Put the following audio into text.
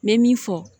N bɛ min fɔ